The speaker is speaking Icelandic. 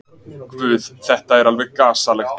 Guð, þetta er alveg gasalegt.